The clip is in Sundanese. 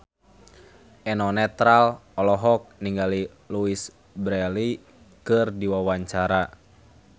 Eno Netral olohok ningali Louise Brealey keur diwawancara